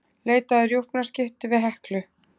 Leita að rjúpnaskyttu við Heklu